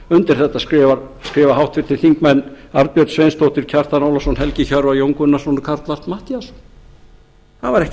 undir þetta skrifa háttvirtir þingmenn arnbjörg sveinsdóttir kjartan ólafsson helgi hjörvar jón gunnarsson og karl fimmti matthíasson það var ekkert